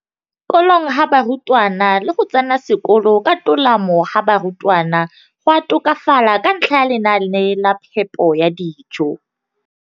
kolong ga barutwana le go tsena sekolo ka tolamo ga barutwana go a tokafala ka ntlha ya lenaane la phepo ya dijo.